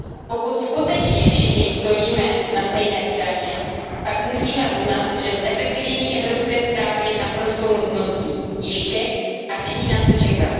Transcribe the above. Pokud skutečně všichni stojíme na stejné straně, pak musíme uznat, že zefektivnění evropské správy je naprostou nutností již teď a není na co čekat.